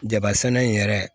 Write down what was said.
Jaba sɛnɛ in yɛrɛ